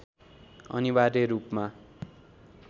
अनिवार्य रूपमा